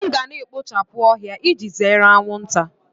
M ga na-ekpochapụ ohia iji zere anwụnta